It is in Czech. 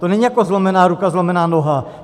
To není jako zlomená ruka, zlomená noha.